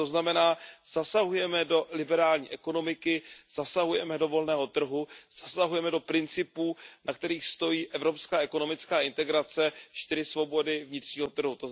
To znamená, že zasahujeme do liberální ekonomiky, zasahujeme do volného trhu, zasahujeme do principů, na kterých stojí evropská ekonomická integrace, čtyři svobody vnitřního trhu.